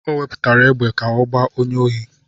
Ọ na-ewepụta égbè ka ọ gbaa onye ohi.